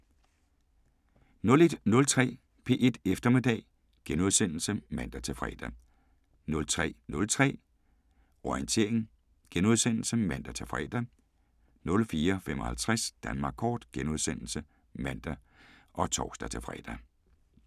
01:03: P1 Eftermiddag *(man-fre) 03:03: Orientering *(man-fre) 04:55: Danmark Kort *(man og tor-fre)